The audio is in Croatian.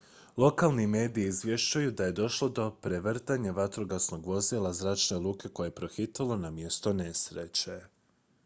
lokalni mediji izvješćuju da je došlo do prevrtanja vatrogasnog vozila zračne luke koje je pohitalo na mjesto nesreće